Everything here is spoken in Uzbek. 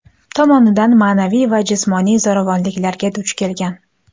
tomonidan ma’naviy va jismoniy zo‘ravonliklarga duch kelgan.